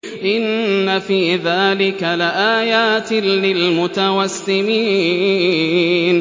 إِنَّ فِي ذَٰلِكَ لَآيَاتٍ لِّلْمُتَوَسِّمِينَ